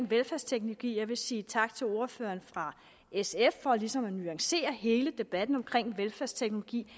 velfærdsteknologi jeg vil sige tak til ordføreren fra sf for ligesom at nuancere hele debatten omkring velfærdsteknologi